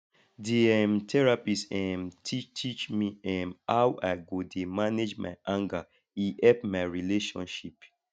di um therapist um teach teach me um how i go dey manage my anger e help my relationship